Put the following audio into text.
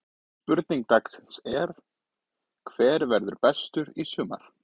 Spurning dagsins er: Hver verður bestur í sumar?